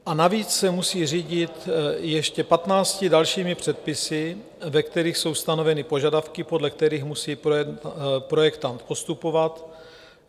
A navíc se musí řídit ještě 15 dalšími předpisy, ve kterých jsou stanoveny požadavky, podle kterých musí projektant postupovat.